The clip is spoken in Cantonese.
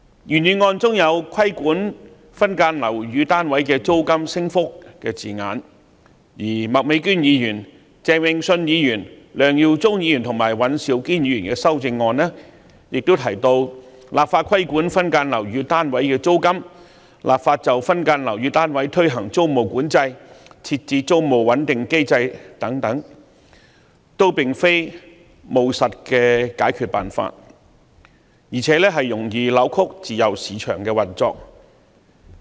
原議案中有"規管分間樓宇單位的租金升幅"的字眼，而麥美娟議員、鄭泳舜議員、梁耀忠議員和尹兆堅議員的修正案分別提及"立法規管分間樓宇單位的租金"、"立法就分間樓宇單位推行租務管制"、"設置租務穩定機制"等，均並非務實的解決辦法，而且容易扭曲自由市場的運作。